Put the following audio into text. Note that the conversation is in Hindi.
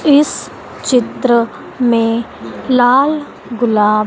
इस चित्र में लाल गुलाब--